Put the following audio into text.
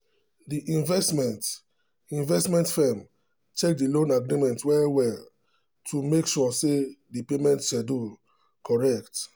the investment investment firm check the loan agreement well well to make sure say the payment schedule correct.